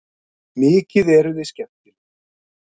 Mikið eruð þið skemmtileg!